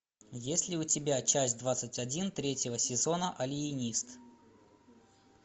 есть ли у тебя часть двадцать один третьего сезона алиенист